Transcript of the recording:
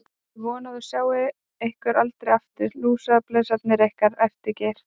Ég vona að ég sjái ykkur aldrei aftur, lúsablesarnir ykkar, æpti Geir.